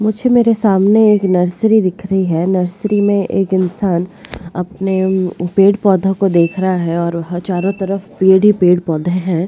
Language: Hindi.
मुझे मेरे सामने एक नर्सरी दिख रही है नर्सरी में एक इंसान अपने पेड़-पौधों को देख रहा है और वह चारों तरफ पेड़ ही पेड़ पौधे हैं।